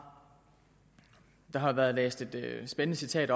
der har været læst et spændende citat